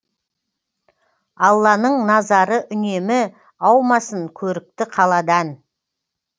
алланың назары үнемі аумасын көрікті қаладан